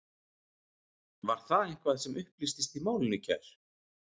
Var það eitthvað sem upplýstist í málinu í gær?